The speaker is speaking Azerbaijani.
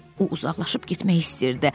O uzaqlaşıb getmək istəyirdi.